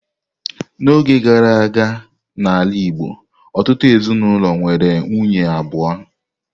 N'oge gara aga n'ala Igbo, ọtụtụ ezinaụlọ nwere nwunye abụọ.